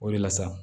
O de la sa